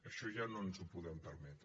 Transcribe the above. això ja no ens ho podem permetre